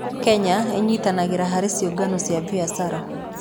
Kenya ĩnyitanagĩra harĩ ciũngano cia biashara.